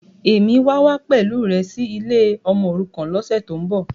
Bẹ́ẹ̀ni, Èmi wà wá pẹ̀lú rẹ sì ilé ọmọòrukàn lọ́sẹ̀tíbọ̀.